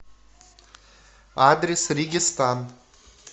адрес регистан